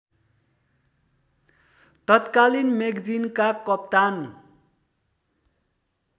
तत्कालीन मेगजिनका कप्तान